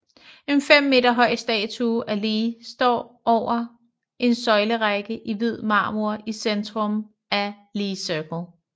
En 5 meter høj statue af Lee står over en søjlerække i hvid marmor i centrum af Lee Circle